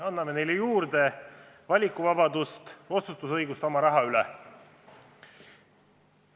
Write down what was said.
Anname neile juurde valikuvabadust, õigust otsustada oma raha kasutamise üle!